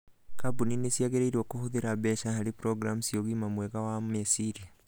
Kambuni nĩ ciagĩrĩirũo kũhũthĩra mbeca harĩ programu cia ũgima mwega wa meciria